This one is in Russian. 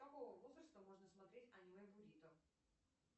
с какого возраста можно смотреть аниме бурито